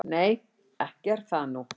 """Nei, ekki er það nú."""